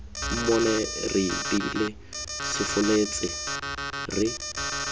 mmone re iteile sefolletse re